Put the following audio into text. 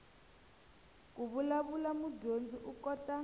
ku vulavula mudyondzi u kota